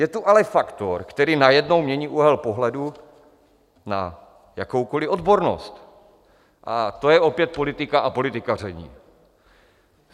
Je tu ale faktor, který najednou mění úhel pohledu na jakoukoli odbornost, a to je opět politika a politikaření.